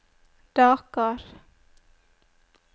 Dakar